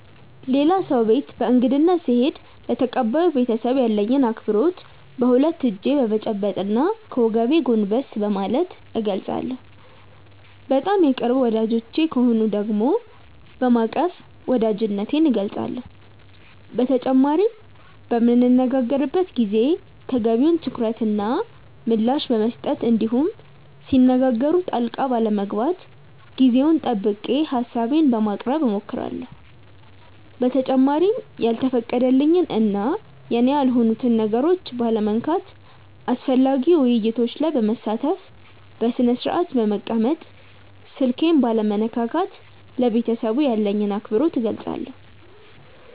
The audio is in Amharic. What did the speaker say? ሌላ ሰው ቤት በእንግድነት ስሄድ ለተቀባዩ ቤተሰብ ያለኝን አክብሮት በሁለት እጄ በመጨበጥ እና ከወገቤ ጎንበስ በማለት እገልፃለሁ። በጣም የቅርብ ወዳጆቼ ከሆኑ ደግሞ በማቀፍ ወዳጅነቴን እገልፃለሁ። በተጨማሪም በምንነጋገርበት ጊዜ ተገቢውን ትኩረት እና ምላሽ በመስጠት እንዲሁም ሲነጋገሩ ጣልቃ ባለመግባት ጊዜውን ጠብቄ ሀሳቤን በማቅረብ እሞክራለሁ። በተጨማሪም ያልተፈቀደልኝን እና የኔ ያልሆኑትን ነገሮች ባለመንካት፣ አስፈላጊ ውይይቶች ላይ በመሳተፍ፣ በስነስርአት በመቀመጥ፣ ስልኬን ባለመነካካት ለቤተሰቡ ያለኝን አክብሮት እገልፃለሁ።